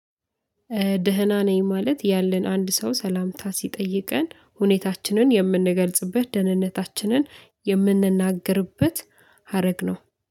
ደህና ነኝ ማለት ያለን አንድ ሰው ሰላምታ ሲጠይቀን ሁኔታችንን የምንገልጽበት ደህንነታችንን የምንናገርበት ሀረግ ነው